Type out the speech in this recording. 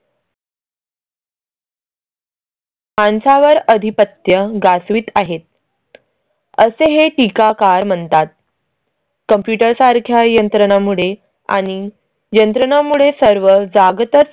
माणसा वर अधिपत्य गाज वीत आहेत. असे हे टीकाकार म्हणतात. computer सारख्या यंत्रणांमुळे आणि यंत्रणांमुळे सर्व जाग तच.